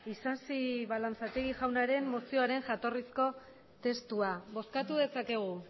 isasi balanzategi jaunaren mozioaren jatorrizko testua bozkatu dezakegu